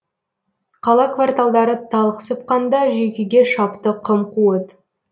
қала кварталдары талықсып қанда жүйкеге шапты қым қуыт